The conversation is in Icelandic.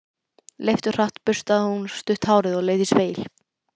Leifturhratt burstaði hún stutt hárið og leit í spegil.